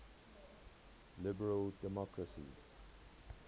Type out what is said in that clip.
liberal democracies